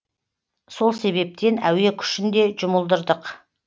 сол себептен әуе күшін де жұмылдырдық